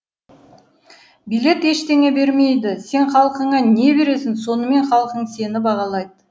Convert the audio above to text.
билет ештеңе бермейді сен халқыңа не бересін сонымен халқың сені бағалайды